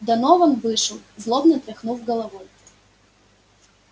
донован вышел злобно тряхнув головой